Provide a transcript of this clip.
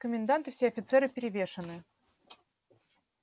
комендант и все офицеры перевешаны